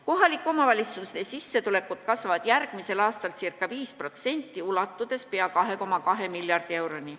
Kohalike omavalitsuste sissetulekud kasvavad järgmisel aastal ca 5%, ulatudes pea 2,2 miljardi euroni.